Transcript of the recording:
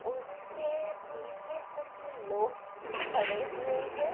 उसके पीछे कुछ लोग खड़े हुए हैं।